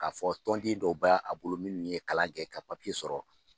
K'a fɔ tɔn dɛnw dow bɛ a bolo minnu ye kalan kɛ ka papiye sɔrɔ.